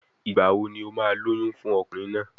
Ìgbà wo ni o máa lóyún fún ọkùnrin náà?